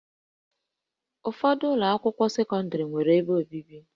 Ụfọdụ ụlọ akwụkwọ sekọndrị nwere ebe obibi